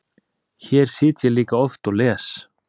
Hér sit ég líka oft og les.